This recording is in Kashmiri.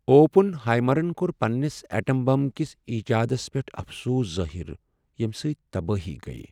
اوپن ہائیمرن کوٚر پننس ایٹم بم کِس ایجادس پیٹھ افسوس ظاہر ییٚمہِ سۭتۍ تبٲہی گیہ ۔